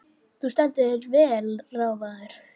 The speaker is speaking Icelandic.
Þú stendur þig vel, Ráðvarður!